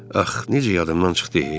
Ax, necə yadımdan çıxdı e.